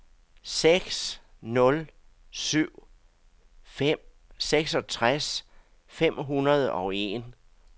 seks nul syv fem seksogtres fem hundrede og en